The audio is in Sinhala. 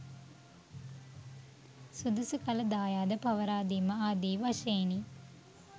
සුදුසු කල දායාද පවරාදීම ආදි වශයෙනි.